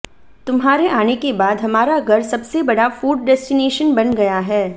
तुम्हारे आने के बाद हमारा घर सबसे बड़ा फूड डेस्टिनेशन बन गया है